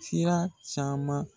Sira caman